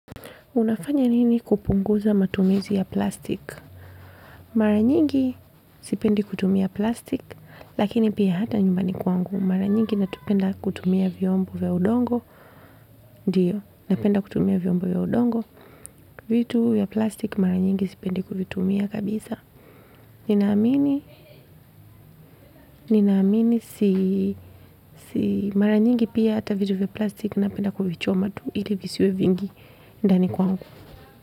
Unafanya nini kupunguza matumizi ya plastiki? Mara nyingi sipendi kutumia plastik, lakini pia hata nyumbani kwangu. Mara nyingi napenda kutumia vyombo ya udongo. Ndiyo, napenda kutumia vyombo ya udongo. Vitu vya plastik mara nyingi sipendi kuvitumia kabisa. Ninaamini, ninaamini, si, si, mara nyingi pia hata vitu vya plastik napenda kuvichoma tu ili visiwe vingi ndani kwangu.